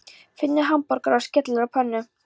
Finnur hamborgara og skellir á pönnu.